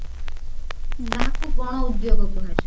ତାହାକୁ ଗଣ ଉଦ୍ଯୋଗ କୁହାଯାଏ